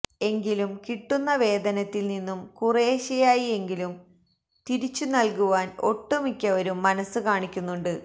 എങ്കിലും കിട്ടുന്ന വേതനത്തില് നിന്നും കുറേശ്ശെയായി എങ്കിലും തിരിച്ചു നല്കുവാന് ഒട്ടുമിക്കവരും മനസ്സുകാണിക്കുന്നുണ്ട്